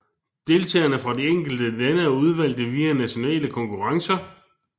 Deltagerne fra de enkelte lande er udvalgte via nationale konkurrencer